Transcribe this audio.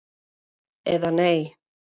Eða nei.